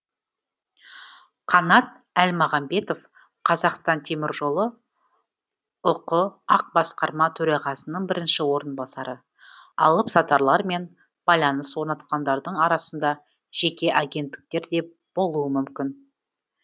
қанат әлмағамбетов қазақстан темір жолы ұқ ақ басқарма төрағасының бірінші орынбасары алыпсатарлар мен байланыс орнатқандардың арасында жеке агенттіктер де болуы мүмкін